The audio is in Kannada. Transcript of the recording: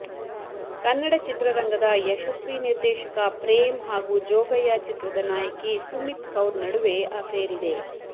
ಕನ್ನಡ ಚಿತ್ರರಂಗದ ಯಶಸ್ವಿ ನಿರ್ದೇಶಕ ಪ್ರೇಮ್ ಹಾಗೂ ಜೋಗಯ್ಯ ಚಿತ್ರದ ನಾಯಕಿ ಸುಮಿತ್ ಕೌರ್ ನಡುವೆ ಅಫೇರ್ ಇದೆ